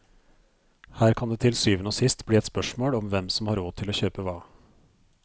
Her kan det til syvende og sist bli et spørsmål om hvem som har råd til å kjøpe hva.